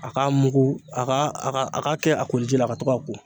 A ka mugu a ka a ka kɛ a koliji la ka to k'a ko